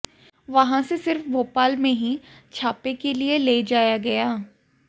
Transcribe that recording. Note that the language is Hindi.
वहां से सिर्फ भोपाल में ही छापे के लिए ले जाया गया